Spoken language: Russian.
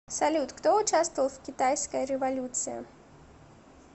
салют кто участвовал в китайская революция